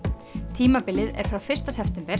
tímabilið er frá fyrsta september